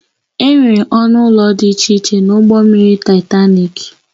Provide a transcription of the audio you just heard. Enwere ọnụ ụlọ dị iche iche na ụgbọ mmiri Taịtanik